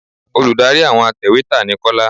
Olùdarí àwọn atẹ̀wẹ́tà ni Kọ́lá